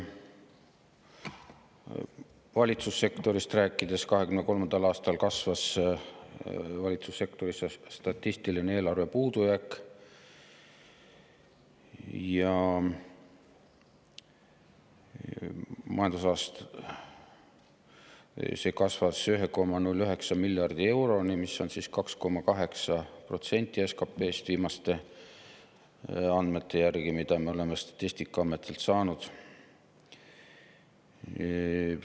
Valitsussektorist rääkides: 2023. aastal kasvas valitsussektori statistiline eelarve puudujääk, see kasvas 1,09 miljardi euroni, mis on 2,8% SKP‑st viimaste andmete järgi, mida me oleme Statistikaametilt saanud.